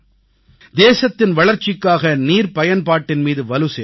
தேசத்தின் வளர்ச்சிக்காக நீர்பயன்பாட்டின் மீது வலு சேர்த்தார்